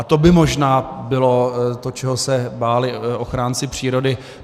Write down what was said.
A to by možná bylo to, čeho se báli ochránci přírody.